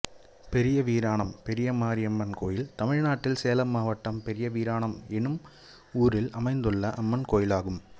பெரியவீராணம் பெரியமாரியம்மன் கோயில் தமிழ்நாட்டில் சேலம் மாவட்டம் பெரியவீராணம் என்னும் ஊரில் அமைந்துள்ள அம்மன் கோயிலாகும்